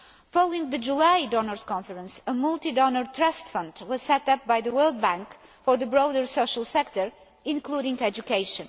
Following the July donors' conference, a multi donor trust fund was set up by the World Bank for the broader social sector, including education.